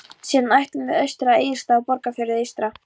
Síðan ætlum við austur á Egilsstaði og Borgarfjörð eystra.